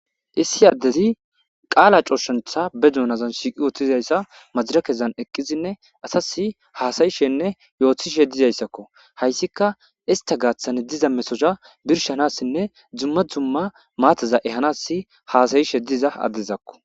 Issi adezi qaala aththizayssa ba dunan woththidi maddirekkezan eqqidi assas haasa'ishshene yootishshe dizayssako hayssika issta gaththan diiza mettoza birshshanasi dumma dumma maataza ehanasi hassaishe diiza addezako.